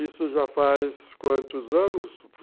Isso já faz quantos anos?